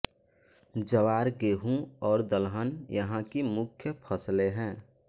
ज्वार गेहूँ और दलहन यहाँ की मुख्य फ़सलें हैं